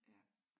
Ja